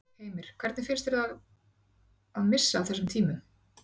Heimir: Hvernig finnst þér það að missa af þessum tímum?